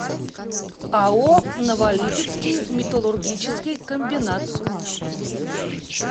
ао новолипецкий металлургический комбинат